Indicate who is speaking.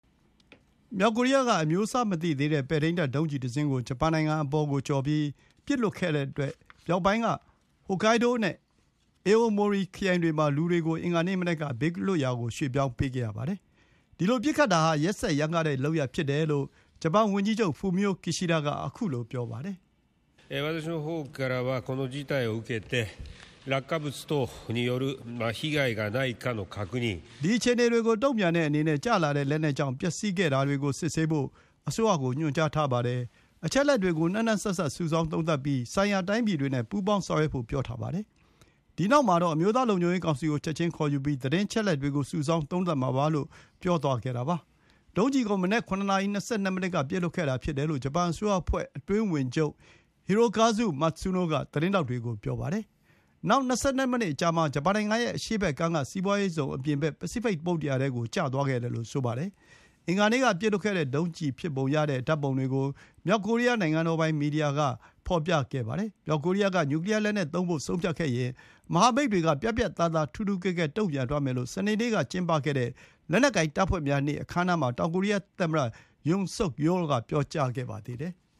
Speaker 1: မြောက်ကိုရီးယားက အမျိုးအစားမသိသေးတဲ့ ပဲ့ထိန်းတပ်ဒုံးကျည်တစင်းကို ဂျပန်နိုင်ငံပေါ်ကိုကျော်ပြီး ပစ်လွှတ်လိုက်တဲ့အတွက် မြောက်ပိုင်းက ဟိုကိုင်းဒိုး (Hokkaido) နဲ့ အေအိုမိုရီ (Aomori) ခရိုင်တွေမှာ လူတွေကို အင်္ဂါနေ့မနက်က ဘေးလွတ်ရာရွှေ့ပြောင်းခဲ့ရပါတယ်။ ဒီလိုပစ်ခတ်တာဟာ ရက်စက်ရမ်းကားတဲ့လုပ်ရပ်ဖြစ်တယ်လို့ ဂျပန်ဝန်ကြီးချုပ် Fumio Kishida က ပြောပါတယ်။ “ဒီအခြေအနေကိုတုံ့ပြန်တဲ့အနေနဲ့ ကျလာတဲ့လက်နက်ကြောင့် ပျက်စီးခဲ့တာတွေကို စစ်ဆေးဖို့ အစိုးရကို ညွှန်ကြားထားပါတယ်။ အချက်အလက်တွေကို နှံ့နှံ့စပ်စပ် စုဆောင်းသုံးသပ်ပြီး ဆိုင်ရာတိုင်းပြည်တွေနဲ့ ပူးပေါင်းဆောင်ရွက်ဖို့ ပြောထားပါတယ်။ ဒီနောက်မှာတော့ အမျိုးသားလုံခြုံရေးကောင်စီကို ချက်ချင်းခေါ်ယူပြီး သတင်းအချက်အလက်တွေကို စုဆောင်း သုံးသပ်မှာပါ။” လို့ ပြောသွားခဲ့တာပါ။ ဒုံးကျည်ကို မနက် ၇ နာရီ ၂၂ မိနစ်က ပစ်လွှတ်ခဲ့တာဖြစ်တယ်လို့ ဂျပန်အစိုးရအဖွဲ့ အတွင်းဝန်ချုပ် Hirokazu Matsuno က သတင်းထောက်တွေကို ပြောပါတယ်။ နောက် ၂၂ မိနစ်အကြာမှာ ဂျပန်နိုင်ငံရဲ့အရှေ့ဘက်ကမ်းက စီးပွါးရေးဇုံအပြင်ဘက် ပစိဖိတ် သမုဒ္ဒရာထဲကို ကျသွားခဲ့တယ်လို့ ဆိုပါတယ်။ အင်္ဂါနေ့က ပစ်လွှတ်ခဲ့တဲ့ဒုံးကျည်ဖြစ်ပုံရတဲ့ဓာတ်ပုံတွေကို မြောက်ကိုရီးယား နိုင်ငံပိုင် မီဒီယာက ဖော်ပြခဲ့ပါတယ်။ မြောက်ကိုရီးယားက နျူကလီယာလက်နက်သုံးဖို့ဆုံးဖြတ်ခဲ့ရင် မဟာမိတ်တွေက ပြတ်ပြတ်သားသား ထူးထူးကဲကဲ တုံ့ပြန်သွားမယ်လို့ စနေနေ့ကကျင်းပခဲ့တဲ့ လက်နက်ကိုင်တပ်ဖွဲ့များနေ့ အခမ်းအနားမှာ တောင်ကိုရီးယားသမ္မတ Yoon Suk Yeol က ပြောကြားခဲ့ပါသေးတယ်။